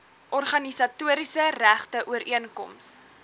organisatoriese regte ooreenkoms